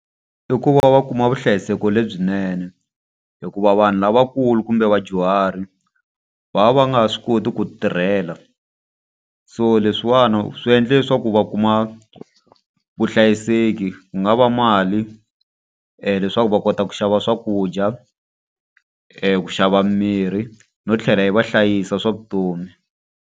I ku va va kuma vuhlayiseki lebyinene hikuva vanhu lavakulu kumbe vadyuhari va va va nga ha swi koti ku tirhela. So leswiwani swi endle leswaku va kuma vuhlayiseki. Ku nga va mali leswaku va kota ku xava swakudya, ku xava mirhi, no tlhela yi va hlayisa hi swa vutomi.